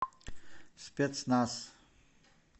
спецназ